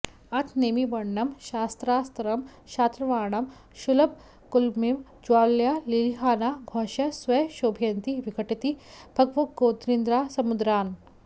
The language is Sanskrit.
अथ नेमिवर्णनम् शस्त्रास्त्रं शात्रवाणां शलभकुलमिव ज्वालया लेलिहाना घौषैः स्वैः क्षोभयन्ती विघटितभगवद्योगनिद्रान्समुद्रान्